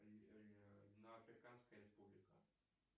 африканская республика